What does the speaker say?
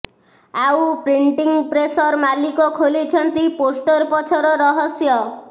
ଆଉ ପ୍ରିଂଟିଂ ପ୍ରେସର ମାଲିକ ଖୋଲିଛନ୍ତି ପୋଷ୍ଟର ପଛର ରହସ୍ୟ